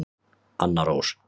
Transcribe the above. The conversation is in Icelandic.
Anna Rós.